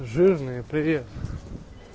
жирные привет